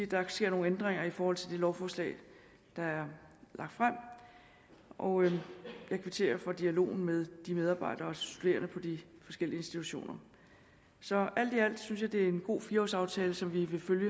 der sker nogle ændringer i forhold til det lovforslag der er lagt frem og jeg kvitterer for dialogen med medarbejdere og studerende på de forskellige institutioner så alt i alt synes jeg det er en god fire års aftale som vi vil følge